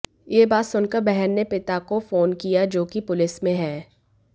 यह बात सुनकर बहन ने पिता को फोन किया जो कि पुलिस में है